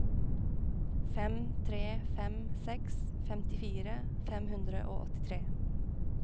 fem tre fem seks femtifire fem hundre og åttitre